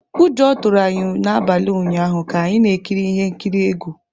Ụjọ tụrụ anyị n’abalị ụnyaahụ ka anyị na-ekiri ihe nkiri egwu.